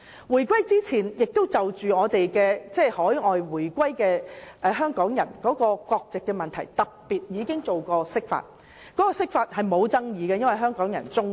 回歸前，有關海外回流港人的國籍問題亦曾特別進行釋法，而該次釋法並無引起爭議，因為得到香港人支持。